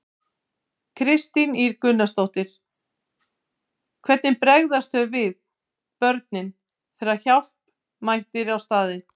Kristín Ýr Gunnarsdóttir: Hvernig bregðast þau við, börnin, þegar að hjálp mætir á staðinn?